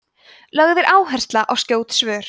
lögð er áhersla á skjót svör